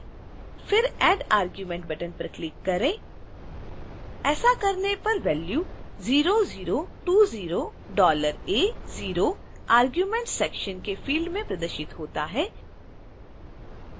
फिर add argument button पर click करें